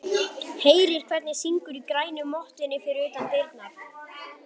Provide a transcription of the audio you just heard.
Heyrir hvernig syngur í grænu mottunni fyrir utan dyrnar.